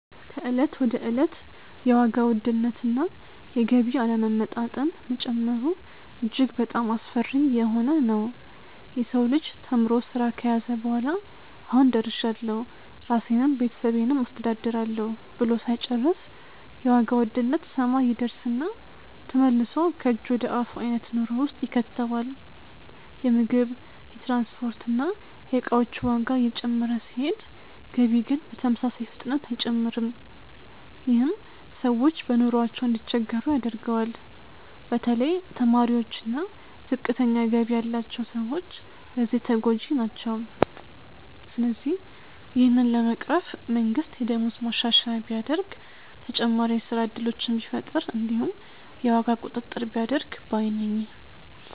ከእለት ወደ እለት የዋጋ ውድነት እና የገቢ አለመመጣጠን መጨመሩ እጅግ በጣሞ አስፈሪ እየሆነ ነዉ። የሰው ልጅ ተምሮ ስራ ከያዘ በኋላ "አሁን ደርሻለሁ ራሴንም ቤተሰቤንም አስተዳድራለሁ" ብሎ ሳይጨርስ የዋጋ ውድነት ሰማይ ይደርስና ተመልሶ ከእጅ ወደ አፍ አይነት ኑሮ ውስጥ ይከተዋል። የምግብ፣ የትራንስፖርት እና የእቃዎች ዋጋ እየጨመረ ሲሄድ ገቢ ግን በተመሳሳይ ፍጥነት አይጨምርም። ይህም ሰዎች በኑሯቸው እንዲቸገሩ ያደርገዋል። በተለይ ተማሪዎች እና ዝቅተኛ ገቢ ያላቸው ሰዎች በዚህ ተጎጂ ናቸው። ስለዚህ ይህንን ለመቅረፍ መንግስት የደሞዝ ማሻሻያ ቢያደርግ፣ ተጨማሪ የስራ እድሎችን ቢፈጥር እንዲሁም የዋጋ ቁጥጥር ቢያደርግ ባይ ነኝ።